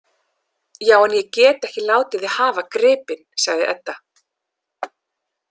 Já, en ég get ekki látið þig hafa gripinn, sagði Edda.